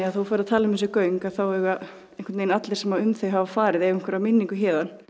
þú ferð að tala um þessi göng þá eiga allir sem um þau hafa farið einhverjar minningar héðan